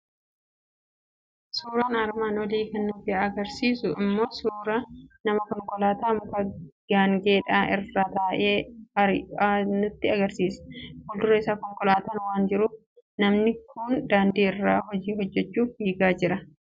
Suuraan armaan olii kan nutti argisiisu immoo suuraa namaa konkolaataa mukaa gaangeedhaa irra taa'ee ari'u nutti argisiisa. Fuuldura isaa konkolaataan waan jiruuf, namni kun daandii irra hojii hojjechuuf fiigaa jira.